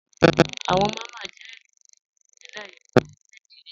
Awọ Máma jẹ̀ ilu ni Ìpínlẹ̀ Imo ni Nàìjíríà.